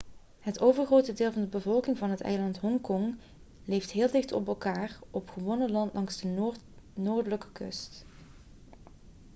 het overgrote deel van de bevolking van het eiland hongkong leeft heel dicht op elkaar op gewonnen land langs de noordelijke kust